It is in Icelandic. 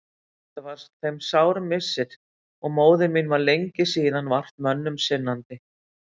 Þetta var þeim sár missir og móðir mín var lengi síðan vart mönnum sinnandi.